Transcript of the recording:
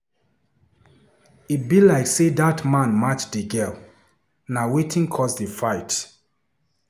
E be like say that man match the girl, na wetin cause the fight.